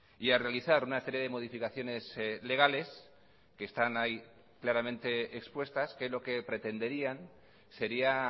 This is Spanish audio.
y a realizar una serie de modificaciones legales que están ahí claramente expuestas que lo que pretenderían sería